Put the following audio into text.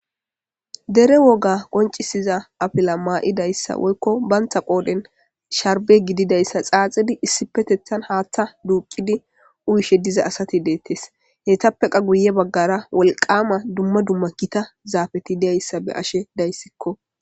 dere woga qoncisiza afila maa7idayssa woykko bantha qooden sharbe gididayssa xaaxidi issipetethan haaththa duuqidi uyishe diza asati deettes heytappeqa guye baggara wolqama dumma dumma kita zaafeti deyayssa be ashe dayssikko